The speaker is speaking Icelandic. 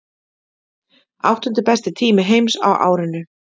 Áttundi besti tími heims á árinu